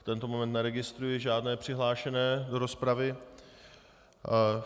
V tento moment neregistruji žádné přihlášené do rozpravy.